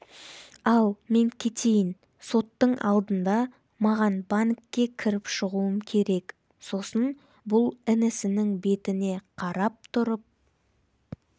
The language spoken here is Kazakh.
ал мен кетейін соттың алдында маған банкке кіріп шығуым керек сосын бұл інісінің бетіне қарап тұрып